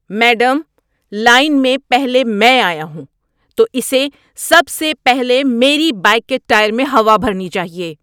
Madam, line میں پہلے میں آیا ہوں، تو اسے سب سے پہلے میری بائیک کے ٹائر میں ہوا بھرنی چاہیے۔